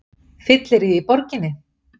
Fylleríið í borginni!